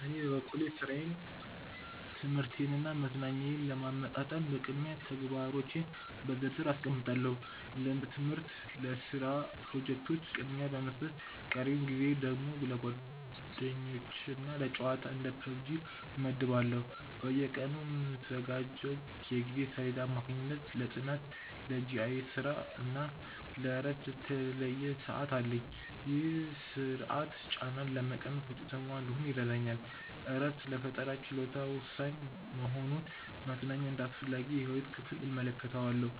በኔ በኩል ሥራዬን ትምህርቴንና መዝናኛዬን ለማመጣጠን በቅድሚያ ተግባሮቼን በዝርዝር አስቀምጣለሁ። ለትምህርትና ለስራ ፕሮጀክቶች ቅድሚያ በመስጠት ቀሪውን ጊዜ ደግሞ ለጓደኞችና ለጨዋታ (እንደ PUBG) እመድባለሁ። በየቀኑ በምዘጋጀው የጊዜ ሰሌዳ አማካኝነት ለጥናት፣ ለGIS ስራና ለእረፍት የተለየ ሰዓት አለኝ። ይህ ስርዓት ጫናን በመቀነስ ውጤታማ እንድሆን ይረዳኛል። እረፍት ለፈጠራ ችሎታዬ ወሳኝ በመሆኑ መዝናኛን እንደ አስፈላጊ የህይወት ክፍል እመለከተዋለሁ።